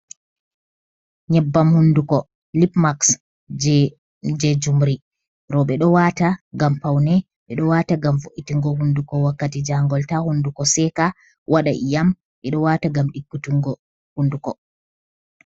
Nyeɓɓam hunduko lipmaxs je jumri, roɓɓe ɗo wata ngam paune, ɓe ɗo wata ngam fo’itingo hunduko wakkati jangol ta hunduko seka waɗa iyam, ɓe ɗo wata ngam ɗikkitingo hunduko.